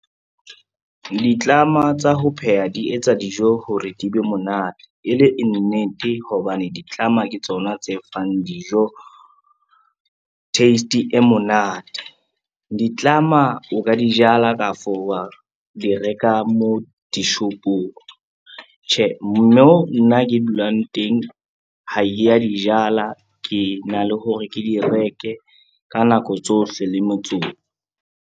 Ditlama tsa ho pheha di etsa dijo hore di be monate e le e nnete, hobane ditlama ke tsona tse fang dijo taste e monate. Ditlama o ka di jala kafo wa di reka mo dishopong. Tjhe, mo nna ke dulang teng ha ke ya di jala, ke na le hore ke di reke ka nako tsohle le motsotso.